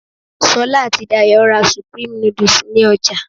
Sola àti Dayò ra supreme noodles ní ọjà